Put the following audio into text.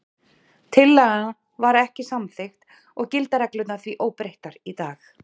Tillagan var ekki samþykkt og gilda reglurnar því óbreyttar í dag.